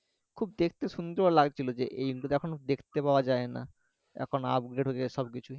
খুব দেখতে সুন্দর লাগছিলো যে এই দেখতে পাওয়া যায় না এখন upgrade হয়েগেছে সবকিছু